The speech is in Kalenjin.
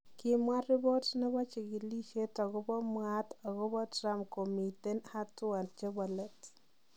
Kimwa ripot nebo chigilisiet agobo mwaat agobo Trump komiiten hatua chebo leet.